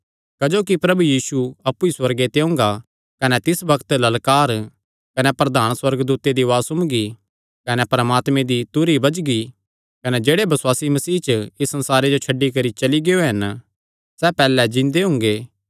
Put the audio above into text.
क्जोकि प्रभु यीशु अप्पु ई सुअर्गे ते ओंगा कने तिस बग्त ललकार कने प्रधान सुअर्गदूते दी उआज़ सुम्मगी कने परमात्मे दी तुरही बजगी कने जेह्ड़े बसुआसी मसीह च इस संसारे जो छड्डी करी चली गियो हन सैह़ पैहल्लैं जिन्दे हुंगे